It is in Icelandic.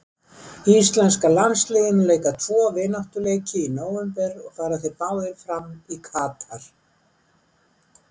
Íslenska landsliðið mun leika tvo vináttuleiki í nóvember og fara þeir báðir fram í Katar.